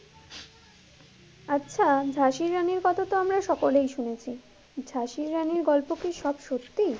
আচ্ছা ঝাঁসির রানীর কথা তো আমরা সকলেই শুনেছি, ঝাঁসির রানীর গল্প কি সব সত্যি?